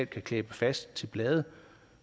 kan klæbe fast til blade